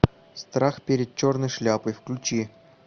страх перед черной шляпой включи